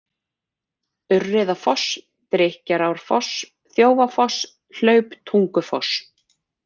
Urriðafoss, Drykkjarárfoss, Þjófafoss, Hlauptungufoss